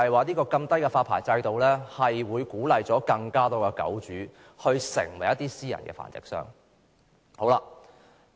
低門檻發牌制度帶來惡果，只會鼓勵更多狗主成為私人繁殖商。